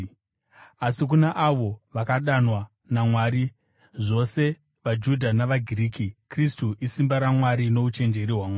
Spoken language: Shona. Asi kuna avo vakadanwa naMwari, zvose vaJudha navaGiriki, Kristu isimba raMwari nouchenjeri hwaMwari.